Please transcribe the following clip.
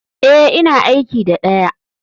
E, ina aiki da ɗaya.